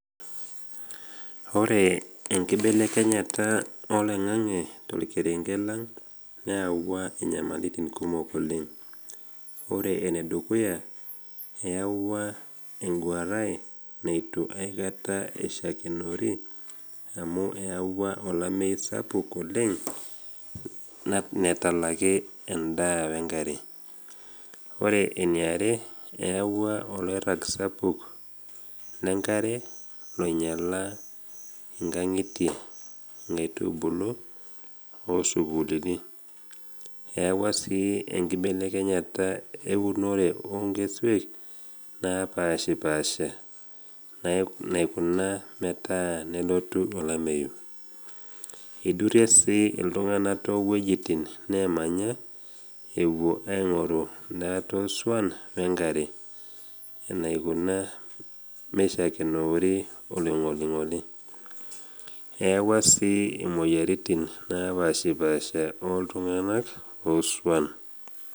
Ore enkibelekenyeta oloing’ang’e tolkerenge lang neawua inyamalitin kumok oleng. Ore enedukuya, eyawua enguaran neitu aikata aishakenori amu eyawua olamei sapuk oleng natalaki endaa wenkare. Ore eniare, eyawua oloirag sapuk le nkare loinyala inkang’itie, inkaitubulu, o sukuulini. Eyawua sii enkibelekenyata eunore o nkesuek naapaashipaasha naikuna metaa nelotu olameyu. Eidurie sii iltung’ana too wuejitin nemanya ewuo aing’oru ndaat osuan wenkare enaikuna meishakenoori oloing’oling’oli. Eyawua sii imoyiaritin naapaashipaasha otung’ana osuan.